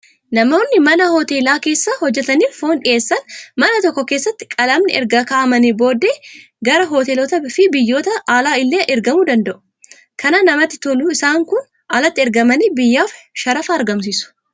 Namoonni mana hoteelaa keessa hojjataniif foon dhiyeessan mana tokko keessatti qalamanii erga kaa'amanii booddee gara hoteelotaa fi biyyoota alaa illee ergamuu danda'u. Kan namatti tolu isaan kun alatti ergamanii biyyaaf shara argamsiisu.